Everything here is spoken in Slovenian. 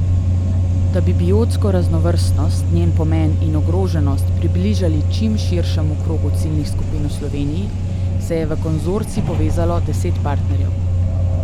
Da bi biotsko raznovrstnost, njen pomen in ogroženost približali čim širšemu krogu ciljnih skupin v Sloveniji, se je v konzorcij povezalo deset partnerjev.